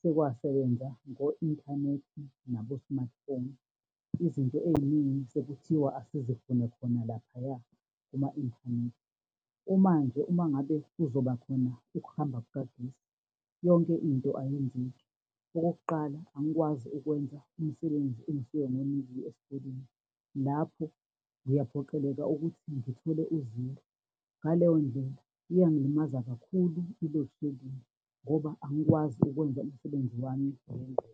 sekwasebenza ngo-inthanethi nabo-smartphone. Izinto ey'ningi sekuthiwa asizifune khona laphaya kuma-inthanethi. Manje uma ngabe kuzoba khona ukuhamba kukagesi, yonke into ayenzeki. Okokuqala angikwazi ukwenza umsebenzi engisuke ngiwinikezwe esikoleni, lapho ngiyaphoqeleka ukuthi ngithole uziro, ngaleyondlela iyangilimaza kakhulu i-loadshedding ngoba angikwazi ukwenza imsebenzi yami ngendlela.